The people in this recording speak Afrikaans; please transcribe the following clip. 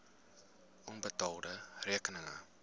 onbetaalde rekeninge